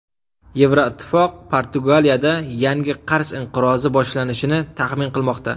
Yevroittifoq Portugaliyada yangi qarz inqirozi boshlanishini taxmin qilmoqda.